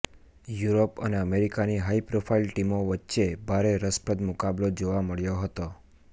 Europe અને south અમેરિકાની high profile ટીમો વચ્ચે ભારે રસપ્રદ મુકાબલો જોવા મળ્યો હતો